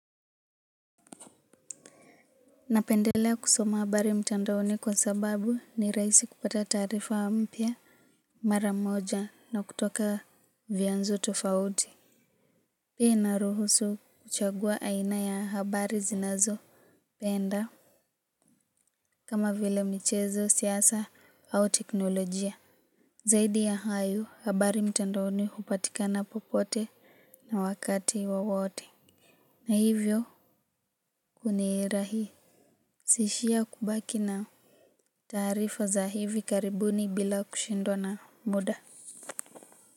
Napendelea kusoma habari mtandaoni kwa sababu ni rahisi kupata taarifa mpya. Mara moja na kutoka vyanzo tofauti. Pia inaruhusu kuchagua aina ya habari zinazopenda kama vile michezo siasa au teknolojia zaidi ya hayo habari mtandaoni hupatikana popote na wakati wowote na hivyo hunirahisishia kubaki nao. Taarifa za hivi karibuni bila kushindwa na muda.